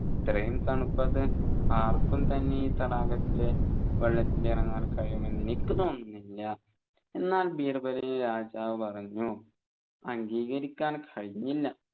ഇത്രയും തണുപ്പത്ത് ആർക്കും തന്നെ ഈ തടാകത്തിലെ വെള്ളത്തിലിറങ്ങാൻ കഴിയുമെന്ന് എനിക്ക് തോന്നുന്നില്ല എന്നാൽ ബീർബലിനെ രാജാവ് പറഞ്ഞു അംഗീകരിക്കാൻ കഴിഞ്ഞില്ല